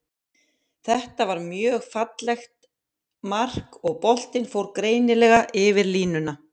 Þetta var mjög fallegt mark, og boltinn fór greinilega yfir línuna.